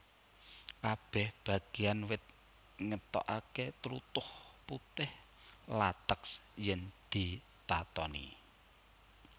Kabèh bagéan wit ngetokaké tlutuh putih lateks yèn ditatoni